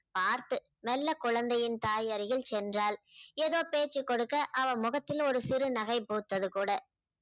பார்த்து மெல்ல குழந்தையின் தாயருகில் சென்றாள். ஏதோ பேச்சு கொடுக்க அவள் முகத்துல ஒரு சிறு நகை பூத்தது கூட